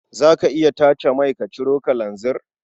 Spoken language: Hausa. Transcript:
Za ka iya tace mai ka ciro kalanzir?